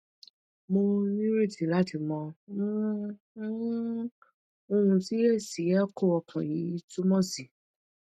mo nireti lati maa um um ohun ti esi echo okan yi tumo si